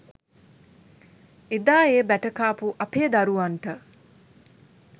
එදා ඒ බැට කාපු අපේ දරුවන්ට.